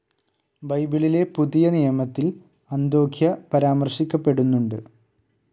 ബൈബിളിലെ പുതിയനിയമത്തിൽ അന്തോഘ്യ പരാമർശിക്കപ്പെടുന്നുണ്ട്.